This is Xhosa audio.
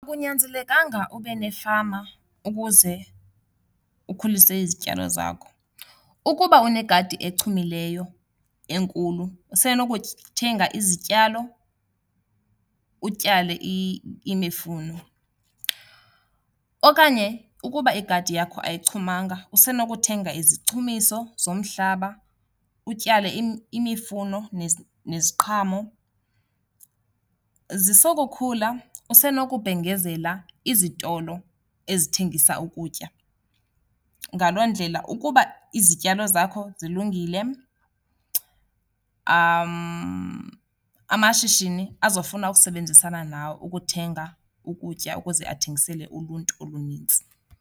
Akunyanzelekanga ube nefama ukuze ukhulise izityalo zakho. Ukuba unegadi ezichumileyo enkulu, usenokuthenga izityalo, utyale imifuno. Okanye ukuba igadi yakho ayichumanga usenokuthenga izichumiso zomhlaba utyale imifuno neziqhamo. Zisokukhula usenokubhengezela izitolo ezithengisa ukutya. Ngaloo ndlela ukuba izityalo zakho zilungile amashishini azofuna ukusebenzisana nawe ukuthenga ukutya ukuze athengisele uluntu olunintsi.